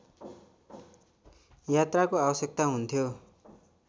यात्राको आवश्यकता हुन्थ्यो